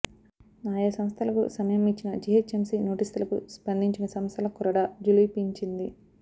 ఆయా సంస్థలకు సమయం ఇచ్చిన జీహెచ్ఎంసీ నోటీసులకు స్పందించని సంస్థల కొరడా ఝుళిపించింది